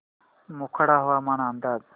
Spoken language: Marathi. मोखाडा हवामान अंदाज